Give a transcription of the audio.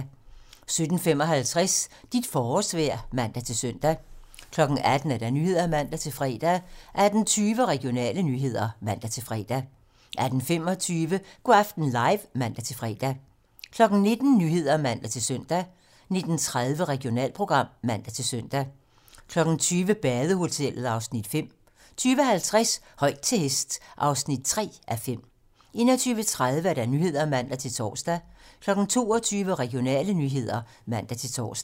17:55: Dit forårsvejr (man-søn) 18:00: 18 Nyhederne (man-fre) 18:20: Regionale nyheder (man-fre) 18:25: Go' aften live (man-fre) 19:00: 19 Nyhederne (man-søn) 19:30: Regionalprogram (man-søn) 20:00: Badehotellet (Afs. 5) 20:50: Højt til hest (3:5) 21:30: 21:30 Nyhederne (man-tor) 22:00: Regionale nyheder (man-tor)